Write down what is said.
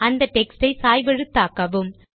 அந்த டெக்ஸ்ட் ஐ சாய்வெழுத்தாக்கவும்